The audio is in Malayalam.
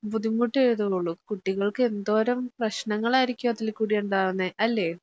ബുദ്ധിമുട്ട് ചെയ്യത്തെയുള്ളൂ കുട്ടികൾക്ക് എന്തോരം പ്രശ്നങ്ങളായിരിക്കും അതില് കൂടി ഉണ്ടാകുന്നെ അല്ലേ?